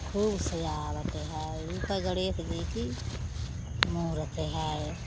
खूब सजावट है। इ त गणेश जी की मूरत है।